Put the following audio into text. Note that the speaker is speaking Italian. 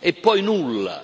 e poi nulla.